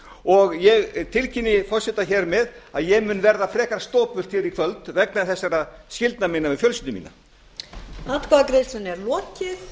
og ég tilkynni forseta hér með að ég mun verða frekar stopult hér í kvöld vegna þessara skyldna mína við